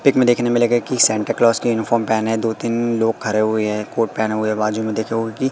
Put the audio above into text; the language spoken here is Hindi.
पिक में देखने मिलेगा की सैंटा क्लाज़ की यूनिफॉर्म पहनें दो तीन लोग खड़े हुए हैं कोट पहने हुए है बाजू में देखे उनकी--